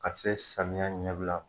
Ka se samiyɛ ɲɛbila ma.